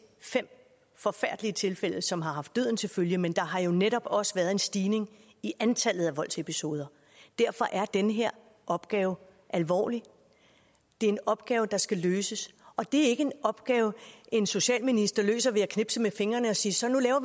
fem forfærdelige tilfælde som har haft døden til følge men der har jo netop også været en stigning i antallet af voldsepisoder derfor er den her opgave alvorlig det er en opgave der skal løses og det er ikke en opgave en socialminister løser ved at knipse med fingrene og sige så nu laver